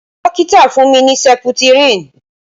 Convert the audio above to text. Dókítà fún mi ní seputirin